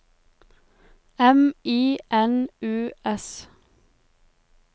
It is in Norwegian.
M I N U S